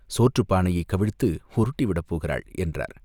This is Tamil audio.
சோற்றுப் பானையைக் கவிழ்த்து உருட்டிவிடப் போகிறாள்!" என்றார்.